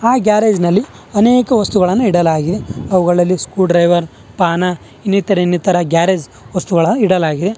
ಅ garage ನಲ್ಲಿ ಅನೇಕ ವಸ್ತುಗಳನ್ನು ಇಡಲಾಗಿದೆ ಅವುಗಳಲ್ಲಿ ಸ್ಕೂ ಡ್ರೈವರ್ ಪಾನ ಇನ್ನಿತರೇ ಇನ್ನಿತರ ಗ್ಯಾರೇಜ್ ವಸ್ತುಗಳನ್ನು ಇಡಲಾಗಿದೆ.